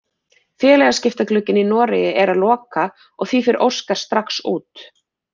Félagaskiptaglugginn í Noregi er að loka og því fer Óskar strax út.